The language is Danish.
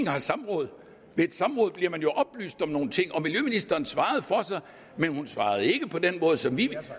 have samråd i et samråd bliver man jo oplyst om nogle ting og miljøministeren svarede for sig men hun svarede ikke på den måde som vi